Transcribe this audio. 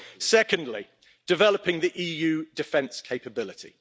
Secondly, developing the EU defence capability.